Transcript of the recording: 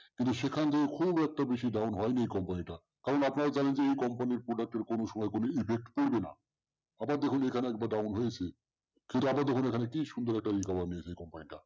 কিন্তু সেখান দিয়েও খুব একটা বেশি down হয়নি এই company টা কারণ আপনারা জানেন যে এই company র product এর কোনো সময় কোনো effect পরবে না। আবার দেখুন এখানে একবার down হয়েছে। কিন্তু আবার দেখুন এখানে কি সুন্দর একটা recover নিয়েছে এই company টা